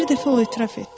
Bir dəfə o etiraf etdi: